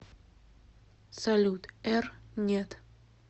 салют р нет